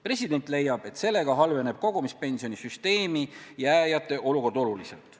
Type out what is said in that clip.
President leiab, et sellega halveneb kogumispensionisüsteemi jääjate olukord oluliselt.